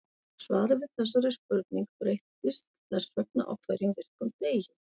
Svarið við þessari spurning breytist þess vegna á hverjum virkum degi.